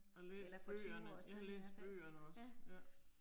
Og læst bøgerne, jeg har læst bøgerne også, ja